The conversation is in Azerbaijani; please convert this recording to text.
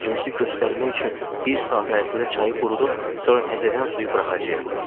Gücümüzü göstərmək üçün bir saat ərzində çayı qurudub, sonra təzədən suyu buraxacağıq.